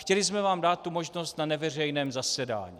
Chtěli jsme vám dát tu možnost na neveřejném zasedání.